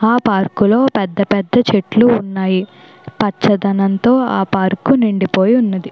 ఆ పార్కులో పెద్దపెద్ద చెట్లు ఉన్నాయి. పచ్చదనంతో ఆ పార్కు నిండిపోయి ఉన్నది.